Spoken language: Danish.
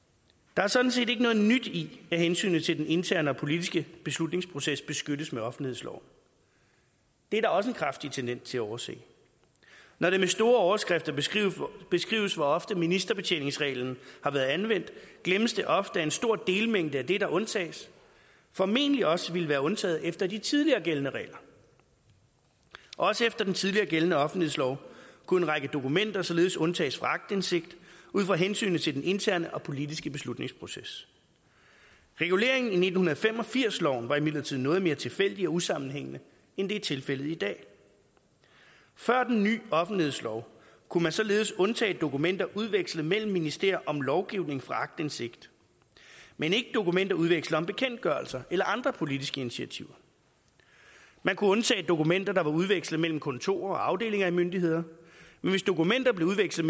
der er sådan set ikke noget nyt i at hensynet til den interne og politiske beslutningsproces beskyttes med offentlighedsloven det er der også en kraftig tendens til at overse når det med store overskrifter beskrives beskrives hvor ofte ministerbetjeningsreglen har været anvendt glemmes det ofte at en stor delmængde af det der undtages formentlig også ville være undtaget efter de tidligere gældende regler også efter den tidligere gældende offentlighedslov kunne en række dokumenter således undtages fra aktindsigt ud fra hensynet til den interne og politiske beslutningsproces reguleringen i nitten fem og firs loven var imidlertid noget mere tilfældig og usammenhængende end det er tilfældet i dag før den ny offentlighedslov kunne man således undtage dokumenter udvekslet mellem ministerier om lovgivning fra aktindsigt men ikke dokumenter udvekslet om bekendtgørelser eller andre politiske initiativer man kunne undtage dokumenter der var udvekslet mellem kontorer og afdelinger af myndigheder men hvis dokumenter blev udvekslet